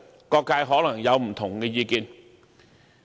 各界可能便會有不同意見。